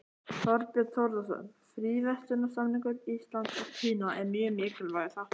Þorbjörn Þórðarson: Fríverslunarsamningur Íslands og Kína er mjög mikilvægur þáttur?